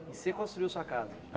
Você construiu sua casa?